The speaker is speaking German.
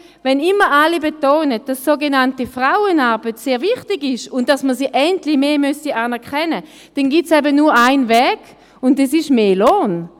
Wenn immer alle betonen, sogenannte Frauenarbeit sei sehr wichtig und man müsse sie endlich mehr anerkennen, dann gibt es eben nur einen Weg, und das ist mehr Lohn.